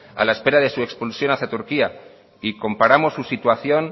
a la espera de su expulsión hacia turquía y comparamos su situación